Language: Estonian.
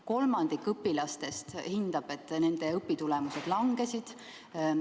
Kolmandik õpilastest hindab, et nende õpitulemused langesid.